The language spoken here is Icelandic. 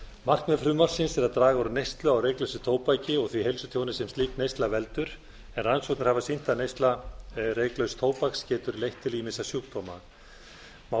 markmið frumvarpsins er að draga úr neyslu á reyklausu tóbaki og því heilsutjóni sem slík neysla veldur en rannsóknir hafa sýnt að neysla reyklauss tóbaks getur leitt til ýmissa sjúkdóma má